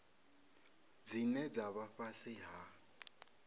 dzine dza vha fhasi ha